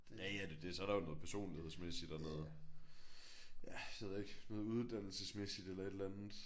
Ja ja det er jo det. Så er der jo noget personlighedsmæssigt og noget ja det ved jeg ikke noget uddannelsesmæssigt eller et eller andet